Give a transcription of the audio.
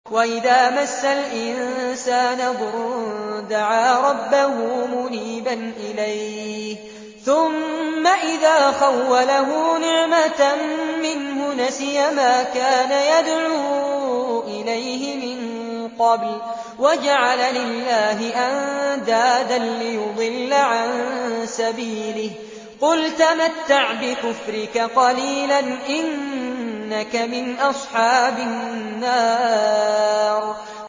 ۞ وَإِذَا مَسَّ الْإِنسَانَ ضُرٌّ دَعَا رَبَّهُ مُنِيبًا إِلَيْهِ ثُمَّ إِذَا خَوَّلَهُ نِعْمَةً مِّنْهُ نَسِيَ مَا كَانَ يَدْعُو إِلَيْهِ مِن قَبْلُ وَجَعَلَ لِلَّهِ أَندَادًا لِّيُضِلَّ عَن سَبِيلِهِ ۚ قُلْ تَمَتَّعْ بِكُفْرِكَ قَلِيلًا ۖ إِنَّكَ مِنْ أَصْحَابِ النَّارِ